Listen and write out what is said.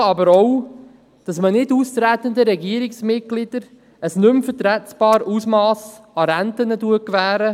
Ausgewogen aber auch dahingehend, dass man nicht austretenden Regierungsmitgliedern ein nicht mehr vertretbares Ausmass an Renten gewährt.